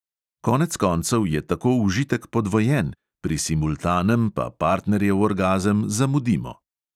Konec koncev je tako užitek podvojen, pri simultanem pa partnerjev orgazem "zamudimo".